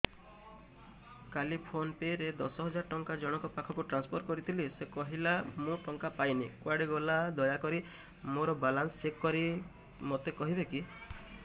କାଲି PhonePe ରେ ଦଶ ହଜାର ଟଙ୍କା ଜଣକ ପାଖକୁ ଟ୍ରାନ୍ସଫର୍ କରିଥିଲି ସେ କହିଲା ମୁଁ ଟଙ୍କା ପାଇନି କୁଆଡେ ଗଲା ଦୟାକରି ମୋର ବାଲାନ୍ସ ଚେକ୍ କରି ମୋତେ କହିବେ କି